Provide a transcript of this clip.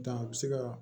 Dan a bɛ se ka